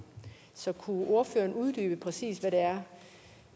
så kunne ordføreren uddybe præcis hvad det er